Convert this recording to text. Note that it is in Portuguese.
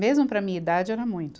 Mesmo para a minha idade, era muito.